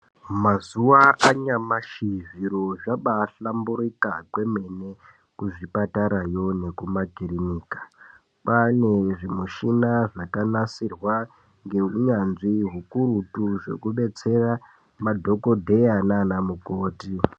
Mazuva anyamashi zviro zvabahlamburika kwemene kuzvipatarayo nekumakirinika. Kwane zvimushina zvakanasirwa ngeunyanzvi hukurutu zvekubetsera madhogodheya nana mukoti.